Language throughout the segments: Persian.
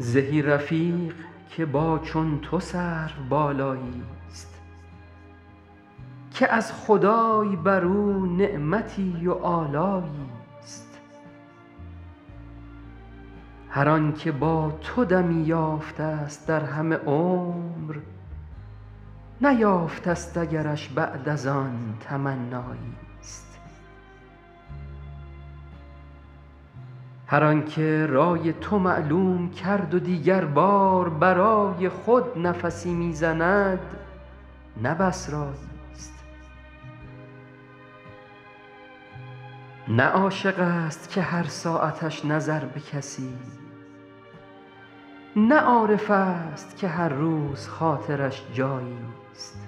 زهی رفیق که با چون تو سروبالایی است که از خدای بر او نعمتی و آلایی است هر آن که با تو دمی یافته است در همه عمر نیافته است اگرش بعد از آن تمنایی است هر آن که رای تو معلوم کرد و دیگر بار برای خود نفسی می زند نه بس رایی است نه عاشق است که هر ساعتش نظر به کسی نه عارف است که هر روز خاطرش جایی است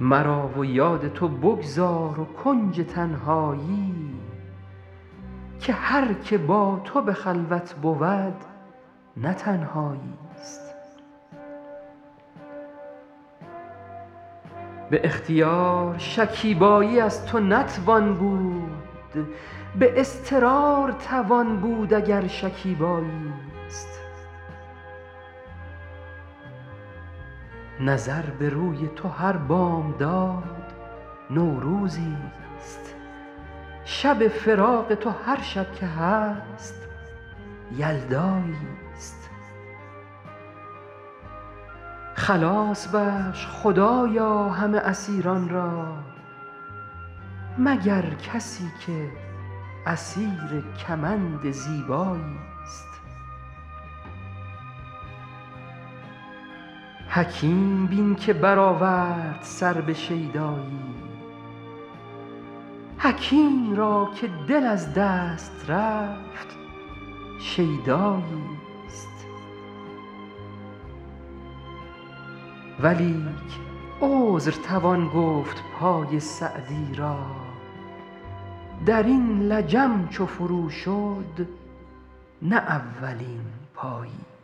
مرا و یاد تو بگذار و کنج تنهایی که هر که با تو به خلوت بود نه تنهایی است به اختیار شکیبایی از تو نتوان بود به اضطرار توان بود اگر شکیبایی است نظر به روی تو هر بامداد نوروزی است شب فراق تو هر شب که هست یلدایی است خلاص بخش خدایا همه اسیران را مگر کسی که اسیر کمند زیبایی است حکیم بین که برآورد سر به شیدایی حکیم را که دل از دست رفت شیدایی است ولیک عذر توان گفت پای سعدی را در این لجم چو فرو شد نه اولین پایی است